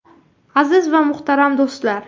Aziz va muhtaram do‘stlar!